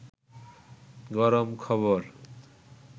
গরম খবর